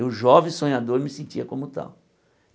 Eu, jovem sonhador, me sentia como tal.